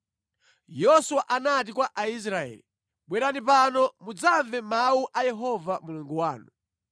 Yoswa anati kwa Aisraeli, “Bwerani pano mudzamve mawu a Yehova Mulungu wanu.